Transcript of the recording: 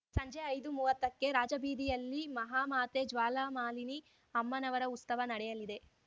ಸಂಜೆ ಐದುಮುವತ್ತ ಕ್ಕೆ ರಾಜಬೀದಿಯಲ್ಲಿ ಮಹಾಮಾತೆ ಜ್ವಾಲಾಮಾಲಿನಿ ಅಮ್ಮನವರ ಉಸ್ತವ ನಡೆಯಲಿದೆ